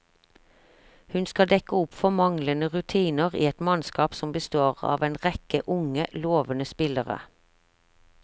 Hun skal dekke opp for manglende rutine i et mannskap som består av en rekke unge, lovende spillere.